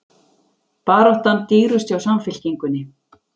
Baráttan dýrust hjá Samfylkingunni